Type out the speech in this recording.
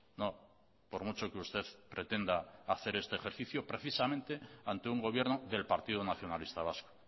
no por mucho que usted pretenda hacer este ejercicio precisamente ante un gobierno del partido nacionalista vasco